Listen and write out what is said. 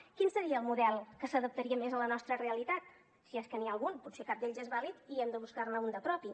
quin seria el model que s’adaptaria més a la nostra realitat si és que n’hi ha algun potser cap d’ells és vàlid i hem de buscar ne un de propi